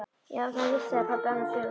Já, það er víst sagði pabbi annars hugar.